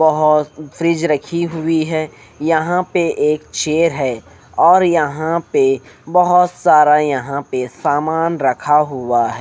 बहोत फ्रिज रखी हुई है यहां पे एक चेयर है और यहां पे बहोत सारा यहां पे सामान रखा हुआ है।